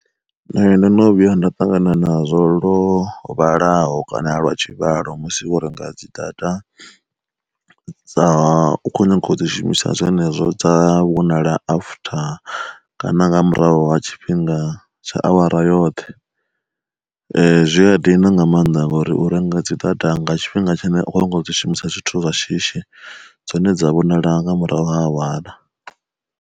Nṋe ndo no vhuya nda ṱangana na zwo lwo vhalaho kana a lwa tshivhalo musi vho renga dzi data, dza u kho nyaga u dzi shumisa zwenezwo dza vhonala after kana nga murahu ha tshifhinga tsha awara yoṱhe, zwi ya dina nga maanḓa ngori u renga dzi data nga tshifhinga tshine u khou nyaga u dzi shumisa zwithu zwa shishi dzone dza vhonala nga murahu ha awara.